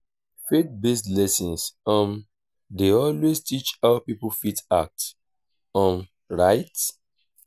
faith based lesson um dey always teach how pipo fit act um right